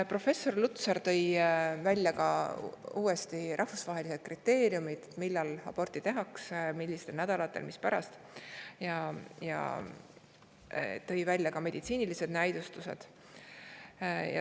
Professor Lutsar tõi välja rahvusvahelised kriteeriumid, millal aborti tehakse, millistel nädalatel, mispärast, ja rääkis ka meditsiinilistest näidustustest.